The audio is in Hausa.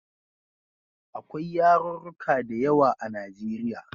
Akwai yarurruka da yawa a Najeriya.